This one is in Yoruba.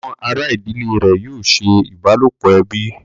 Àwọn àrà ìdílé rẹ̀ yóò ṣe ìbálòpọ̀ ẹbí